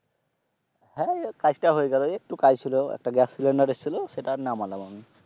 হ্যাঁ কাজটা হয়ে গেলো। একটু কাজ ছিল একটা গ্যাস সিলেন্ডার এসছিল সেটাই নামালাম।